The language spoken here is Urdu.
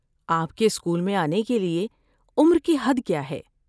آپ کے اسکول میں آنے کے لیے عمر کی حد کیا ہے؟